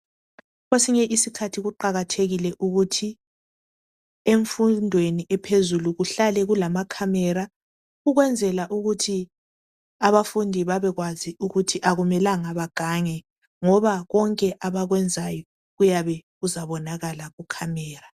Kwesinye isikhathi kuqakathekile ukuthi emfundweni ephezulu kuhlale kulamakhamera ukwenzela ukuthi abafundi babekwazi ukuthi akumelanga bagange ngoba konke abakwenzayo kuyabe kuzabonakala kumakhamera .